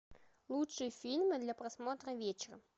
лучшие фильмы для просмотра вечером